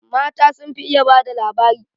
Mata sun fi iya ba da labari